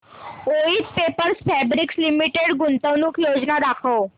Voith paper fabrics limited गुंतवणूक योजना दाखव